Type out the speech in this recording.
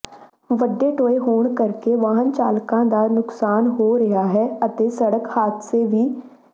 ਵੱਡੇ ਟੋਏ ਪੈਣ ਕਰਕੇ ਵਾਹਨ ਚਾਲਕਾਂ ਦਾ ਨੁਕਸਾਨ ਹੋ ਰਿਹਾ ਹੈ ਅਤੇ ਸੜਕ ਹਾਦਸੇ ਵੀ